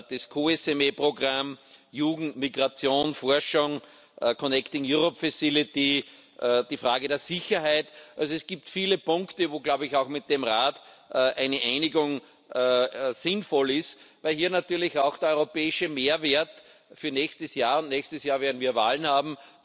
das COSME Programm, Jugend, Migration, Forschung, die Frage der Sicherheit also es gibt viele Punkte, wo, glaube ich, auch mit dem Rat eine Einigung sinnvoll ist, weil hier natürlich auch der europäische Mehrwert für nächstes Jahr nächstes Jahr werden wir Wahlen haben